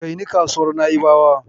Kai ni kasuwar Na'ibawar.